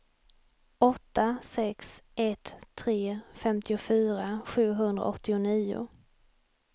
åtta sex ett tre femtiofyra sjuhundraåttionio